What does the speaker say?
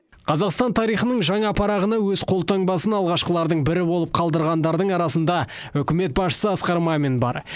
қазақстан тарихының жаңа парағына өз қолтаңбасын алғашқылардың бірі болып қалдырғандардың арасында үкімет басшысы асқар мамин бар